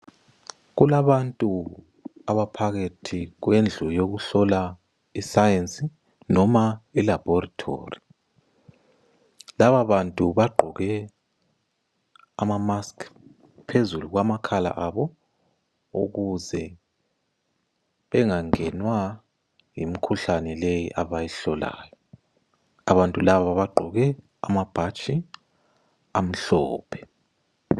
Kulabantu abaphakathi kwendlu yokuhlola isayesi noma ilaboratory, lababantu bagqoke amamask phezulu kwamakhala abo ukuze bengagenwa yimikhuhlane le abayihlolayo abantu laba bagqoke amabhatshi amhlophe.